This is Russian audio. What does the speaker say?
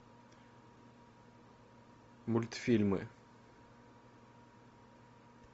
мультфильмы